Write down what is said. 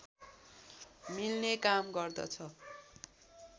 मिल्ने काम गर्दछ